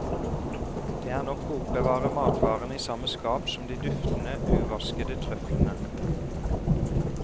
Det er nok å oppbevare matvarene i samme skap som de duftende uvaskede trøflene.